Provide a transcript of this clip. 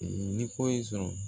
Ni ko y'i sɔrɔ